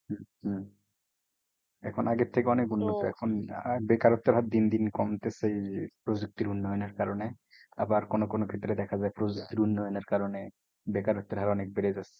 হম হম এখন আগের থেকে অনেক উন্নত এখন বেকারত্বের হার দিন দিন কমতেছে প্রযুক্তির উন্নয়ণের কারণে। আবার কোনো কোনো ক্ষেত্রে দেখা যায় প্রযুক্তির উন্নয়নের কারণে বেকারত্বের হার অনেক বেড়ে যাচ্ছে।